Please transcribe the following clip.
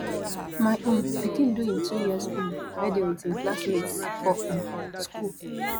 my um pikin do im two years um birthday wit im classmates for um skool